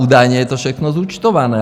Údajně je to všechno zúčtované.